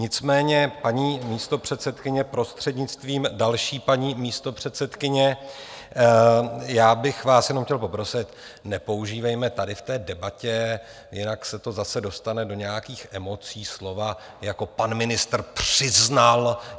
Nicméně, paní místopředsedkyně, prostřednictvím další paní místopředsedkyně, já bych vás jenom chtěl poprosit, nepoužívejme tady v té debatě, jinak se to zase dostane do nějakých emocí, slova jako "pan ministr přiznal".